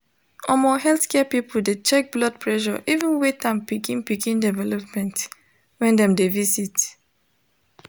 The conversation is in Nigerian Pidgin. omo healthcare people de check blood pressure even weight and pikin pikin development when dem de visit